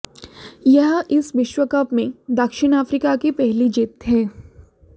यह इस विश्व कप में दक्षिण अफ्रीका की पहली जीत है